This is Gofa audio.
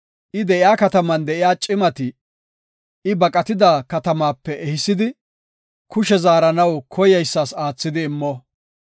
I de7iya kataman de7iya cimati I baqatida katamaape ehisidi, kushe zaaranaw koyeysas aathidi immo.